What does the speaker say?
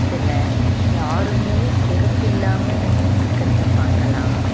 இதுல யாருமே செருப்பு இல்லாம நின்னுட்டுருக்கறத பாக்கலா